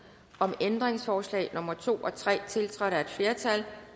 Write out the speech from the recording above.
om ændringsforslag nummer to og tre tiltrådt af et flertal